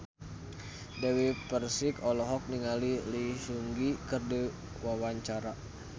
Dewi Persik olohok ningali Lee Seung Gi keur diwawancara